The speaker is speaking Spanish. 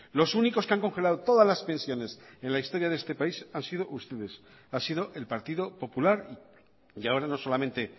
los únicos que han congelado todas las pensiones en la historia de este país han sido ustedes ha sido el partido popular y ahora no solamente